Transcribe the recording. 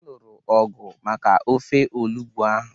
Ha lụrụ ọgu maka ọfe olugbu ahụ